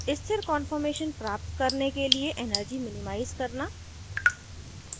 * स्थिर कान्फॉर्मेशन प्राप्त करने के लिए energy minimize करना